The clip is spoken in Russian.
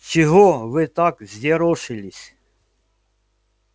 чего вы так взъерошились